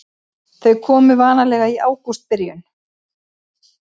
Þau komu vanalega í ágústbyrjun.